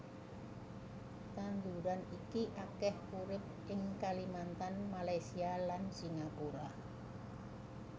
Tanduran iki akèh urip ing Kalimantan Malaysia lan Singapura